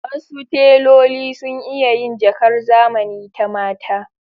Wasu teloli sun iya yin jakar zamani ta mata.